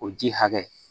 O ji hakɛ